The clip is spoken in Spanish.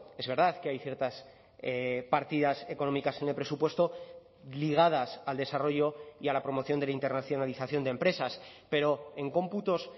es verdad que hay ciertas partidas económicas en el presupuesto ligadas al desarrollo y a la promoción de la internacionalización de empresas pero en cómputos